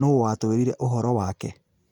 Nũũ waatwĩrire ũhoro wake?